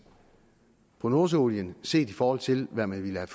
på nordsøolien set i forhold til hvad man ville have